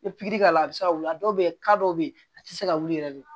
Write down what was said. I pikiri k'a la a bɛ se ka wuli a dɔw bɛ yen dɔw bɛ yen a tɛ se ka wuli yɛrɛ de